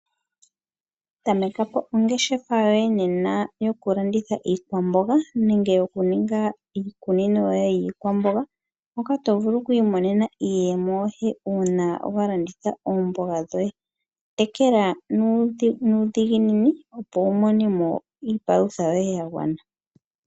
Tamekapo ongeshefa yoye nena yokulanditha iikwamboga nenge okuninga iikunino yoye yiikwamboga, moka tovulu okwiimonena iiyemo yoye uuna walanditha oomboga dhoye . Tekela nuudhiginini opo wumone mo iipalutha yoye yagwana.